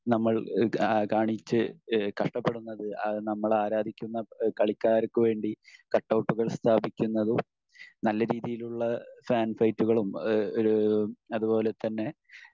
നമ്മൾ ഇഹ് കാണിച്ച് ഇഹ് കഷ്ടപ്പെടുന്നത്? ഇഹ് നമ്മളാരാധിക്കുന്ന ഇഹ് കളിക്കാർക്ക് വേണ്ടി കട്ടൗട്ടുകൾ സ്ഥാപിക്കുന്നതും നല്ല രീതിയിലുള്ള ഫാൻ ഫൈറ്റുകളും ഈഹ് ഒരു അതുപോലെതന്നെ